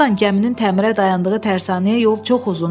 Burdan gəminin təmirə dayandığı tərsanəyə yol çox uzundur.